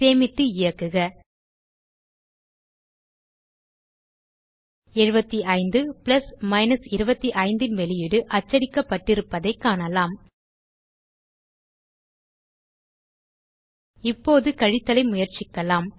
சேமித்து இயக்குக 75 பிளஸ் 25 ன் வெளியீடு அச்சடிக்கப்பட்டிருப்பதைக் காணலாம் இப்போது கழித்தலை முயற்சிக்கலாம்